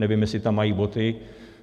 Nevím, jestli tam mají boty.